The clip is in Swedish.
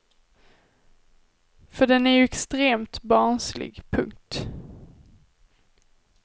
För den är ju extremt barnslig. punkt